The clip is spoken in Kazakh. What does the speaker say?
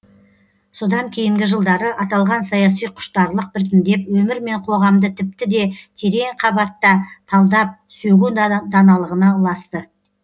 содан кейінгі жылдары аталған саяси құштарлық біртіндеп өмір мен қоғамды тіпті де терең қабатта талдап сөгу даналығына ұласты